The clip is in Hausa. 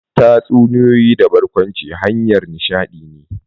Tatsunitoyi da barkwanci hanyar nishadi ne.